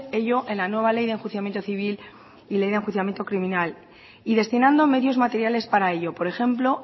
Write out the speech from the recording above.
ello en la nueva ley de enjuiciamiento civil y la de enjuiciamiento criminal y destinando medios materiales para ello por ejemplo